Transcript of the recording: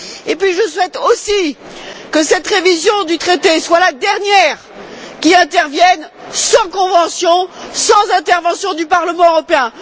Puis, je souhaite aussi que cette révision du traité soit la dernière qui intervienne sans convention et sans intervention du Parlement européen.